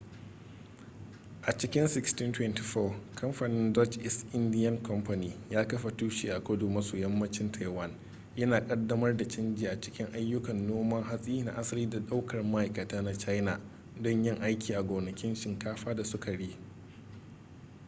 a cikin 1624 kamfanin dutch east india company ya kafa tushe a kudu maso yammacin taiwan yana ƙaddamar da canji a cikin ayyukan noman hatsi na asali da ɗaukar ma'aikata na china don yin aiki a gonakin shinkafa da sukari